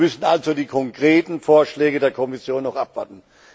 Wir müssen also die konkreten Vorschläge der Kommission noch abwarten.